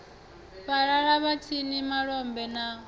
fhalala vhatshini malombe na mune